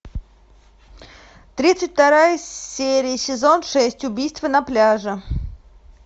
тридцать вторая серия сезон шесть убийство на пляже